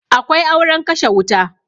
Akwai auren kashe wuta